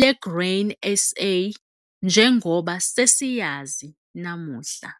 le-Grain SA njengoba sesiyazi namuhla.